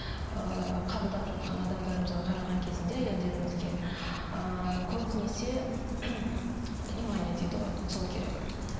ыыы қабылдап жатқан адамдарымызға қараған кезінде әйелдерімізге ыыы көбінесе внимание дейді ғой сол керек